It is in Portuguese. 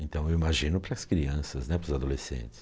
Então eu imagino para as crianças né, para os adolescentes.